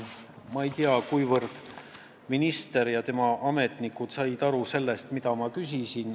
Ma ei tea, kuivõrd minister ja tema ametnikud said aru sellest, mida ma küsisin.